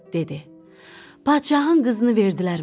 Dedi: Padşahın qızını verdilər mənə.